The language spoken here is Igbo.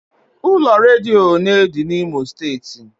Ụlọ redio ole dị n'Imo steeti?